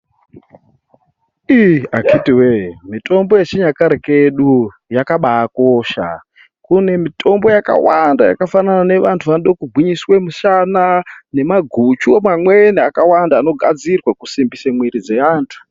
Iii akiti wee, mitombo yechinyakare kedu yakabakosha. Kune mitombo yakawanda yakafanana neyevantu vanodo kugwinyiswe mishana, nemaguchu mamweni akawanda anogadzirwa kusimbise mwiiri dzeantu.